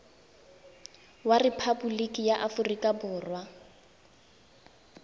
wa rephaboliki ya aforika borwa